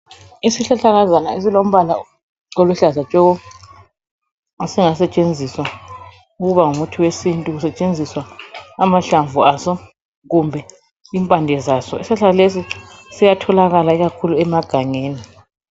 Isihlahlakazana esilombala oluhlaza tshoko, esingasetshenziswa ukuba ngumuthi wesintu. Kusetshenziswa amahlamvu aso kumbe impande zaso. Isihlahla lesi siyatholakala ikakhulu emagangeni.